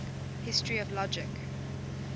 history of logic